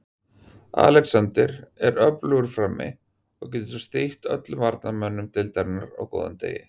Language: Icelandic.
Alexander er öflugur frammi og getur strítt öllum varnarmönnum deildarinnar á góðum degi.